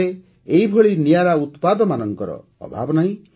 ଆମ ଦେଶରେ ଏହିଭଳି ନିଆରା ଉତ୍ପାଦମାନଙ୍କର ଅଭାବ ନାହିଁ